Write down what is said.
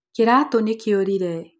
kĩratũ nĩkĩũriree.